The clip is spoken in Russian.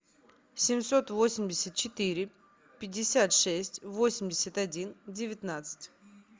семьсот восемьдесят четыре пятьдесят шесть восемьдесят один девятнадцать